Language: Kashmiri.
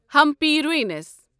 ہمپی روٗنِس